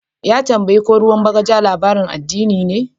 Ya tambaye ko ruwan bagaja labarin addini ne.